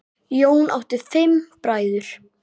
Jón átti fimm bræður.